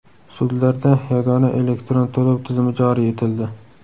Sudlarda yagona elektron to‘lov tizimi joriy etildi.